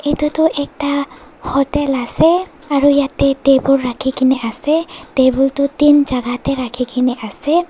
etu tho ekta hotel ase aro yete table raki kina ase table tu din jaga de raki kina ase.